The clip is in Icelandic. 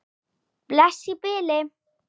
Bless í bili.